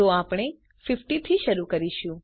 તો આપણે 50 થી શરૂ કરીશું